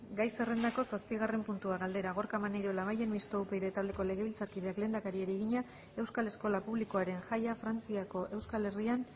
gai zerrendako zazpigarren puntua galdera gorka maneiro labayen mistoa upyd taldeko legebiltzarkideak lehendakariari egina euskal eskola publikoaren jaia frantziako euskal herrian